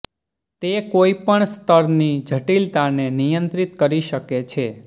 તે કોઈ પણ સ્તરની જટીલતાને નિયંત્રિત કરી શકે છે